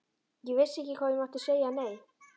Ég vissi ekki að ég mátti segja nei.